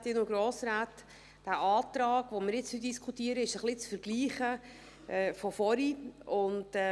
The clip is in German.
Dieser Antrag, über den wir jetzt diskutieren, ist ein wenig mit dem vorangehenden zu vergleichen.